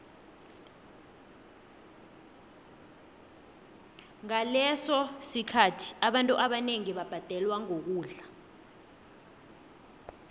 ngaleso sikhathi abantu bebabhadelwa ngokudla